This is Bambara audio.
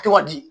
A tɛ ka di